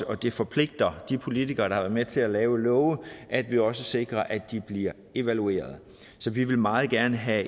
det forpligter de politikere der med til at lave lovene at vi også sikrer at de bliver evalueret så vi vil meget gerne have